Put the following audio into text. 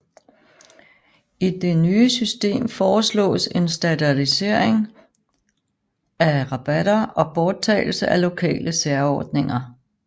I det nye system foreslås en standardisering af rabatter og borttagelse af lokale særordninger